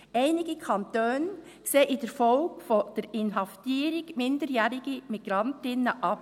Einige Kantone sehen in der Folge von der Inhaftierung minderjähriger Migrantinnen ab.